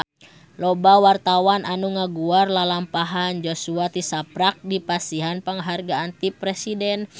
Loba wartawan anu ngaguar lalampahan Joshua tisaprak dipasihan panghargaan ti Presiden